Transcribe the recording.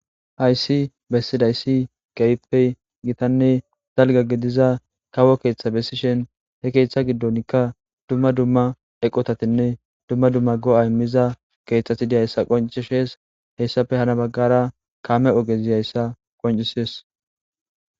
hayssi bessidayssi keyppey gitanne dalga gidiza kawo keeththa bessishen he keeththa giddonkka dumma dumma eqotatinne dumma dumma go7a immiza keeththati dihayssa qoncishees hessafe hana baggara kaame ogezihayssa qoncisees